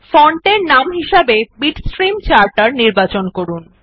font এর নাম হিসাবে বিটস্ট্রিম চার্টার নির্বাচন করুন